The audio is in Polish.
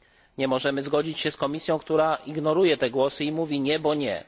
Nie możemy zgodzić się z Komisją, która ignoruje te głosy i mówi nie, bo nie.